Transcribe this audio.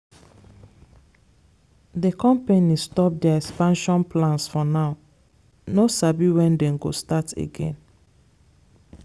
the company stop their expansion plans for now no sabi when dem go start again.